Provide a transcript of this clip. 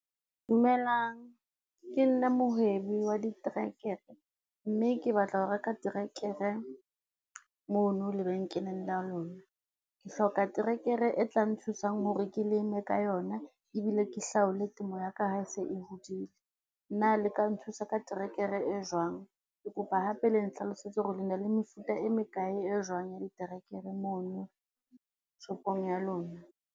Dumelang, ke nna mohwebi wa diterekere mme ke batla ho reka terekere mona lebenkeleng la lona. Ke hloka terekere e tlang nthusang hore ke leme ka yona, ebile ke hlaole temo ya ka ha e se e hodile, na le ka nthusa ka trekere e jwang? Ke kopa hape le nhlalosetse hore le na le mefuta e mekae e jwang ya diterekere mona shopong ya lona?